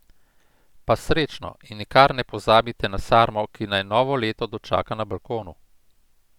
Pa srečno in nikar ne pozabite na sarmo, ki naj novo leto dočaka na balkonu!